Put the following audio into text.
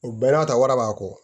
U bɛɛ n'a ta wara b'a kɔ